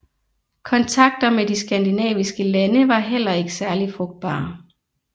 Kontakter med de skandinaviske lande var heller ikke særlig frugtbare